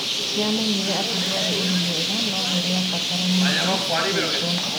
Nĩamenyire atĩ ndwarĩ ũndũ mwega no nĩ rĩa fataranĩtie gwĩkwo.